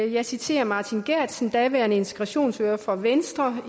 jeg citerer martin geertsen daværende integrationsordfører for venstre